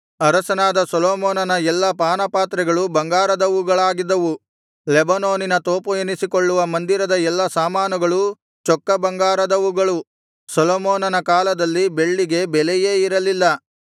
ಅರಸನಾದ ಸೊಲೊಮೋನನ ಎಲ್ಲಾ ಪಾನಪಾತ್ರೆಗಳು ಬಂಗಾರದವುಗಳಾಗಿದ್ದವು ಲೆಬನೋನಿನ ತೋಪು ಎನಿಸಿಕೊಳ್ಳುವ ಮಂದಿರದ ಎಲ್ಲಾ ಸಾಮಾನುಗಳು ಚೊಕ್ಕ ಬಂಗಾರದವುಗಳು ಸೊಲೊಮೋನನ ಕಾಲದಲ್ಲಿ ಬೆಳ್ಳಿಗೆ ಬೆಲೆಯೇ ಇರಲಿಲ್ಲ